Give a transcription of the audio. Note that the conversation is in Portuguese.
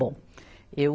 Bom, eu...